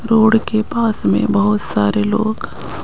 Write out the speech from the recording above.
road के पास में बहुत सारे लोग--